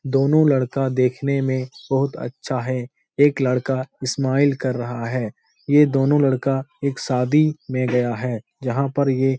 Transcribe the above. दोनों लड़का देखने में बहुत अच्छा हैं एक लड़का स्माइल कर रहा है ये दोनों लड़का एक शादी में गया हैं जहाँ पर ये --